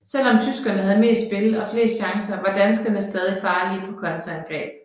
Selv om tyskerne havde mest spil og flest chancer var danskerne stadig farlige på kontraangreb